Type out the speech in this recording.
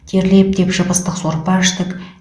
терлеп тепшіп ыстық сорпа іштік